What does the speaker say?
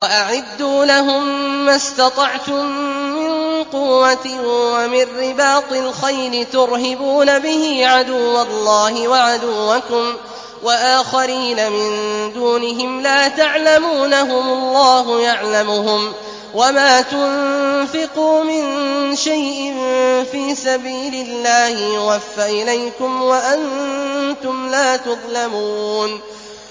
وَأَعِدُّوا لَهُم مَّا اسْتَطَعْتُم مِّن قُوَّةٍ وَمِن رِّبَاطِ الْخَيْلِ تُرْهِبُونَ بِهِ عَدُوَّ اللَّهِ وَعَدُوَّكُمْ وَآخَرِينَ مِن دُونِهِمْ لَا تَعْلَمُونَهُمُ اللَّهُ يَعْلَمُهُمْ ۚ وَمَا تُنفِقُوا مِن شَيْءٍ فِي سَبِيلِ اللَّهِ يُوَفَّ إِلَيْكُمْ وَأَنتُمْ لَا تُظْلَمُونَ